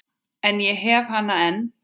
En ég hef hana enn.